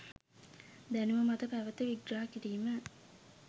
දැනුම මත පැවත විග්‍රහ කිරීම